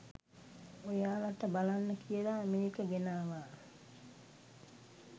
ඔයාලට බලන්න කියලා මේක ගෙනාවා